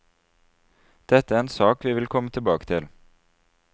Dette er en sak vi vil komme tilbake til.